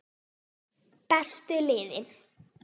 Bestu liðin?